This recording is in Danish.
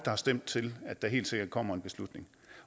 har stemt til at der helt sikkert kommer en beslutning